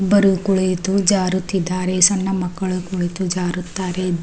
ಇಬ್ಬರು ಕುಳಿತು ಜಾರುತ್ತಿದ್ದಾರೆ ಸಣ್ಣ ಮಕ್ಕಳು ಕುಳಿತು ಜಾರುತ್ತಾರೆ.